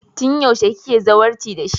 Tun yaushe kike zawarci da shi?